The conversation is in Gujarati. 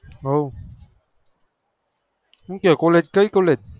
હા શું કહે college કઈ college?